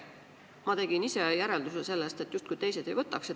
Ma tegin sellest järelduse, et teised justkui neid ei võtaks.